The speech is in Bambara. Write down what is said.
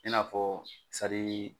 I n'afɔ